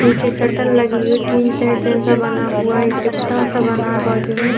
नीचे शटल लगी हुई है टीन सेट जैसा बना हुआ है एक रिपटा सा बना है बाजू में।